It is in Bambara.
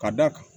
Ka d'a kan